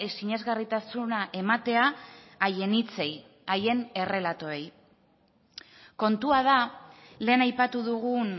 sinesgarritasuna ematea haien hitzei haien errelatoei kontua da lehen aipatu dugun